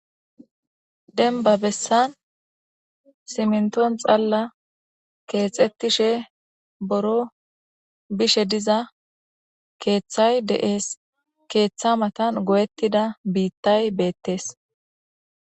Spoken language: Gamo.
Deniban bessan simnton xalla keexettishe boro bishe diza keeththay de'ees keeththa matan goyettida biittay beettees